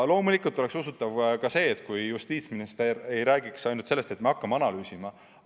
Loomulikult oleks see usutav ka siis, kui justiitsminister ei räägiks ainult sellest, et me hakkame analüüsima.